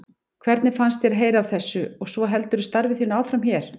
Hvernig fannst þér að heyra af þessu og svo heldurðu starfi þínu áfram hér?